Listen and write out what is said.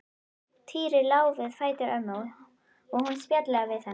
Týri lá við fætur ömmu og hún spjallaði við hann.